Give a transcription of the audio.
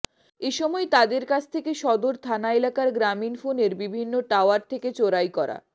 এ সময় তাদের কাছ থেকে সদর থানা এলাকার গ্রামীণ ফোনের বিভিন্ন টাওয়ার থেকে চোরাই করা